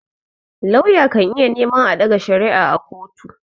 Lauya kan iya neman a ɗaga shari'a a kotu.